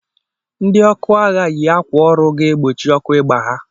Ndị ọkụ agha yi akwa ọrụ ga-egbochi ọkụ igba ha